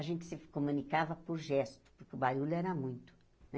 A gente se comunicava por gesto, porque o barulho era muito, né?